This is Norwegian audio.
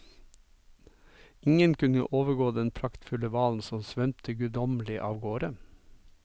Ingen kunne overgå den praktfulle hvalen som svømte guddommelig av gårde.